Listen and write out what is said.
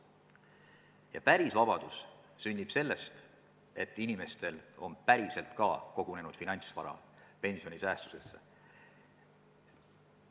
Ja päris vabadus sünnib sellest, et inimestel on päriselt ka kogunenud finantsvara pensionisäästudesse.